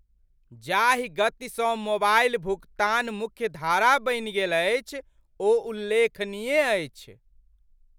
जाहि गतिसँ मोबाइल भुगतान मुख्यधारा बनि गेल अछि ओ उल्लेखनीय अछि।